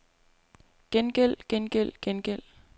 gengæld gengæld gengæld